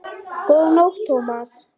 Góða nótt, Thomas